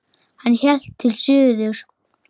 Hann hélt til suðurs.